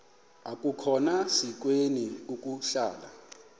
akukhona sikweni ukuhlala